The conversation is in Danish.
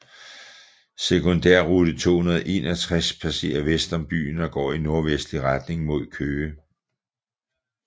Sekundærrute 261 passerer vest om byen og går i nordvestlig retning mod Køge